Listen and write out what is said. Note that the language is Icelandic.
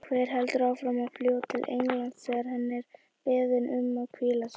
Hver heldur áfram að fljúga til Englands þegar hann er beðinn um að hvíla sig?